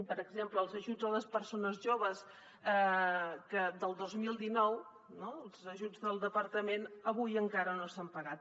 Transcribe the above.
per exemple els ajuts a les persones joves del dos mil dinou els ajuts del departament avui encara no s’han pagat